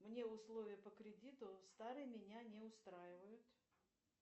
мне условия по кредиту старые меня не устраивают